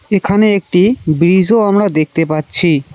এখানে একটি ব্রিজও আমরা দেখতে পাচ্ছি।